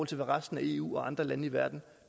til hvad resten af eu og andre lande i verden